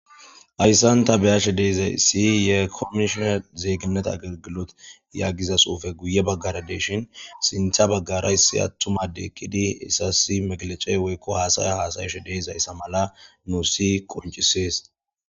Hayssanta beyashe deezay isi ye komishona zeeygineta agagilot yagiza suufe guye baggara deshin sintha baggara issi attuma de ekkidi isasi meglecey woykko haasaya haasayashe deezayssa mala nu si qoncisees